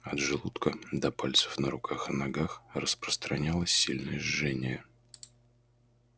от желудка до пальцев на руках и ногах распространялось сильное жжение